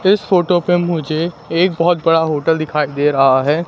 इस फोटो पे मुझे एक बहोत बड़ा होटल दिखाई दे रहा है।